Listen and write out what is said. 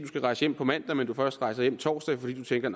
skal rejse hjem på mandag men først rejser hjem på torsdag fordi du tænker